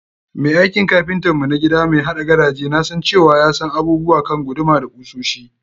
Mai aikin kapintan mu na gida mai haɗa gadaje nasan cewa ya san abubuwa kan guduma da kusoshi.